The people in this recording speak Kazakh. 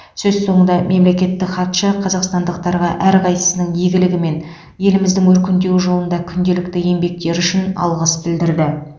сөз соңында мемлекеттік хатшы қазақстандықтарға әрқайсының игілігі мен еліміздің өркендеуі жолында күнделікті еңбектері үшін алғыс білдірді